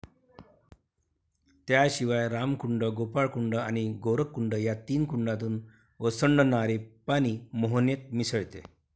त्याशिवाय रामकुंड, गोपाळकुंड आणि गोरखकुंड या तीन कुंडातून ओसंडनणरे पाणी मोहनेत मिसळते.